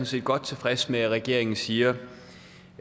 set godt tilfreds med at regeringen siger